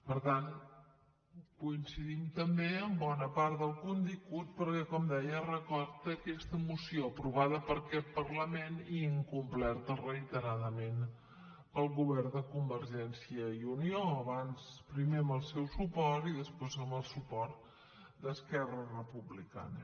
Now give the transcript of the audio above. per tant coincidim també en bona part del contingut perquè com deia recorda aquesta moció aprovada per aquest parlament i incomplerta reiteradament pel govern de convergència i unió primer amb el seu suport i després amb el suport d’esquerra republicana